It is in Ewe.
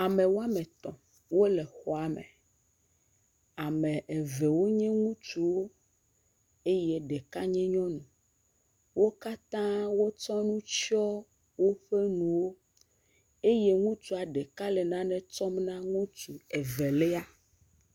Ame wɔme etɔ̃ wole xɔa me. Ame eve wo nye ŋutsuwo eye ɖeka nye nyɔnu. Wo katã wo tsɔ nu tsɔ woƒe nuwo eye ŋutsua ɖeka le nane tsɔm na ŋutsu evelia.